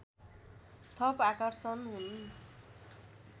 थप आकर्षण हुन्